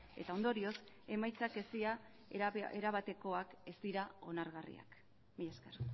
eta ondorioz emaitzak ez dira erabatekoak ez dira onargarriak mila esker